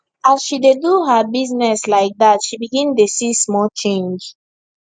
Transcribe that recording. as she dey do her business like that she begin dey see small change